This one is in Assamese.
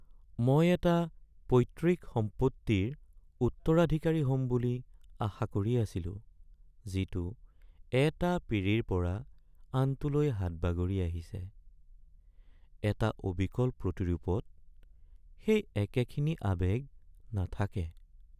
মই এটা পৈত্ৰিক সম্পত্তিৰ উত্তৰাধিকাৰী হ'ম বুলি আশা কৰি আছিলো যিটো এটা পীৰিৰ পৰা আনটোলৈ হাতবাগৰি আহিছে। এটা অবিকল প্ৰতিৰূপত সেই একেখিনি আৱেগ নাথাকে।